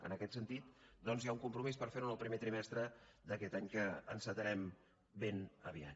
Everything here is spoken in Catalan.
en aquest sentit doncs hi ha un compromís per fer ho en el primer trimestre d’aquest any que encetarem ben aviat